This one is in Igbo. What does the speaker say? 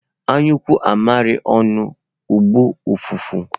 Anyukoo amiri onu, ogboo ufufu